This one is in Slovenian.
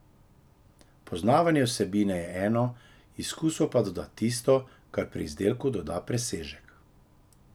Poznavanje vsebine je eno, izkustvo pa doda tisto, kar pri izdelku doda presežek.